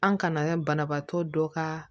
An kana banabaatɔ dɔ ka